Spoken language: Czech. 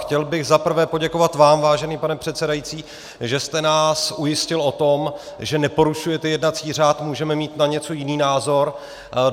Chtěl bych za prvé poděkovat vám, vážený pane předsedající, že jste nás ujistil o tom, že neporušujete jednací řád, můžeme mít na něco jiný názor.